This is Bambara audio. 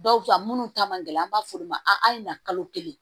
Dɔw ta minnu ta man gɛlɛn an b'a f'olu ma a ye na kalo kelen